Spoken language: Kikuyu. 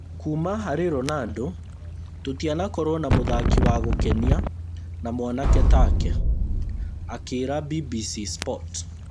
Kuuma harĩ Ronaldo tũtianakorwo na mũthaki wa gũkenia na mwanake take’’ akĩĩra BBC sport